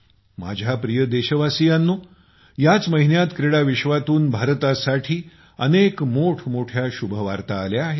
माझ्या प्रिय देशवासियांनो याच महिन्यात क्रीडा विश्वातून भारतासाठी अनेक मोठमोठ्या शुभवार्ता आल्या आहेत